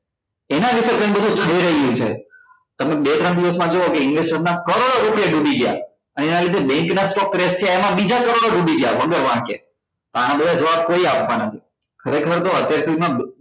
એના લીધે જે બધું થઇ રહ્યું છે તમે બે ત્રણ દિવસ માં જોવો કે investor નાં કરોડો રૂપિયા ડૂબી ગયા અને એના લીધે bank નાં stock રહેશે એમાં બીજા કરોડો ડૂબી ગયા વગર વાંકે તો આના બધા જવાબ કોઈ આપતા નથી ખરેખર તો માં